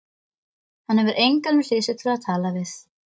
Hann hefur engan við hlið sér til að tala við.